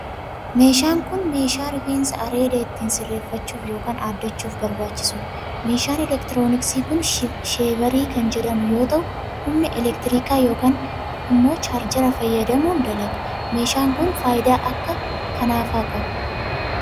Meeshaan kun, meeshaa rifeensa areedaa ittiin sirreeffachuuf ykn aaddachuuf barbaachisuu dha. Meeshaan elektirooniksii kun sheevarii kan jedhamu yoo ta'u, humna elektirikaa ykn immoo chaarjara fayyadamuun dalaga. Meeshaan kun, faayidaa akka kanaa faa qaba.